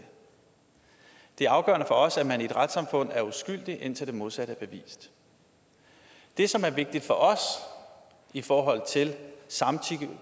det afgørende for os er at man i et retssamfund er uskyldig indtil det modsatte er bevist det som er vigtigt for os i forhold til